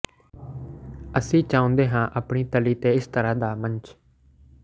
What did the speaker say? ਅਸੀਂ ਚਾਹੁੰਦੇ ਹਾਂ ਆਪਣੀ ਤਲੀ ਤੇ ਕੋਈ ਇਸ ਤਰ੍ਹਾਂ ਦਾ ਸੱਚ